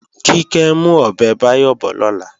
Kíkẹ́ ń mú ọbẹ̀ Báyọ̀ bọ̀ lọ́la